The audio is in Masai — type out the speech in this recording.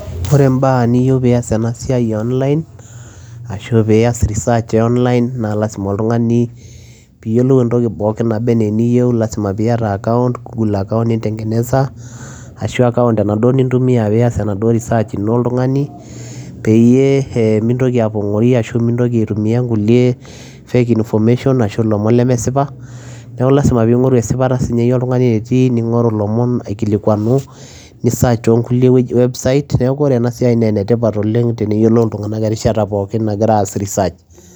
Ore mbaa niyeu pias ena siai e online ashu pias research e online naa lazima oltung'ani piiyiolou entoki pookin naba naa eniyeu, lazima piata account, goggle account ninteng'eneza ashu account enaduo nintumia pias enaduo research ino oltung'ani, peyie ee mintoki apong'ori ashu mintoki aitumia nkulie fake information ashu ilomon lemesipa. Neeku lazima piing'oru esipata siiinye iye oltung'ani enetiii ning'oru ilomon aikilikuanu nisearch too nkulie website, neeku ore ena siai nee ene tipat oleng' peeyiolou iltung'anak enkata pookin nagira aas research.